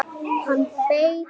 Hann beit á!